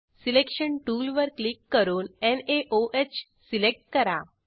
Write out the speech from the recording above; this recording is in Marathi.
सिलेक्शन टूलवर क्लिक करून नाओह सिलेक्ट करा